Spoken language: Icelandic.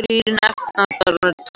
Þrír nefndarmenn